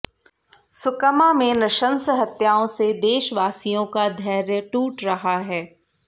सुकमा में नृशंस हत्याओं से देशवासियों का धैर्य टूट रहा है